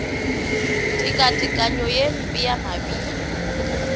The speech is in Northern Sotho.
tekatekanyo ye mpe ya mabilo